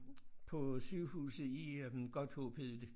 På sygehuset i øh Godthåb hed det